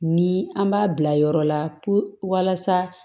Ni an b'a bila yɔrɔ la pewu walasa